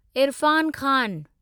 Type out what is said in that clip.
Irfan Khan